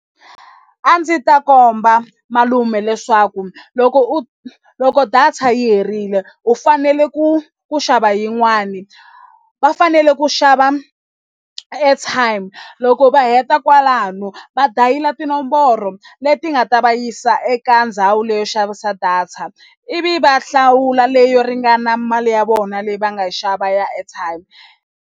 A ndzi ta komba malume leswaku loko u loko data yi herile u fanele ku ku xava yin'wani va fanele ku xava airtime loko va heta kwalano va dayila tinomboro leti nga ta va yisa eka ndhawu leyi yo xavisa data ivi va hlawula leyo ringana mali ya vona leyi va nga xava ya airtime.